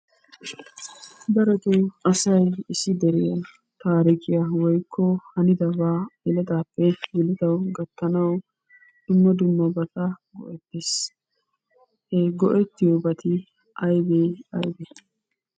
Darotoo asay issi deriya taarikiya/hanidabaa yeletaappe yeletawu gattanawu dumma dummabata go'ettees. He go'ettiyobati aybee? Aybee?